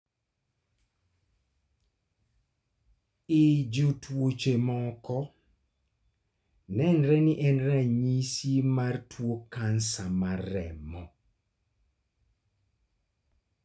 E jotuoche moko, nenre ni en ranyisi mar tuo kansa mar remo